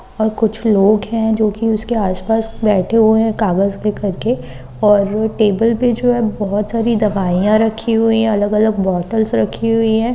और कुछ लोग हैं जोकि उसके आसपास बैठे हुए कागज के करके और टेबल पर जो है बहुत सारी दवाइयां रखी हुई है। अलग-अलग बॉटल्स रखी हुई है।